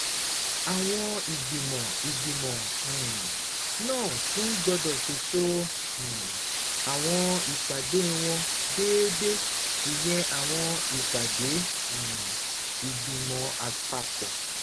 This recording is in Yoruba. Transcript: Àwọn ìgbìmọ̀ ìgbìmọ̀ um náà tún gbọ́dọ̀ ṣètò um àwọn ìpàdé wọn déédéé, ìyẹn àwọn ìpàdé um ìgbìmọ̀ àpapọ̀